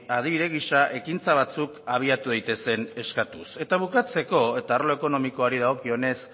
adibide gisa ekintza batzuk abiatu daitezen eskatuz eta bukatzeko eta arlo ekonomikoari dagokionez